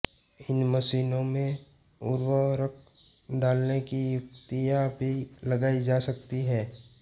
इन मशीनों में उर्वरक डालने की युक्तियाँ भी लगाई जा सकती है